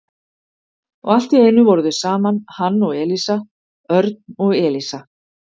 Og allt í einu voru þau saman, hann og Elísa, Örn og Elísa.